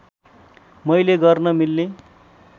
मैले गर्न मिल्ने